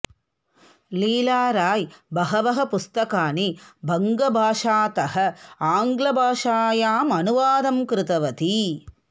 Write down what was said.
लीला राय बहबः पुस्तकानि बङ्गभाषातः आङ्गल भाषायां अनुवादं कृतवती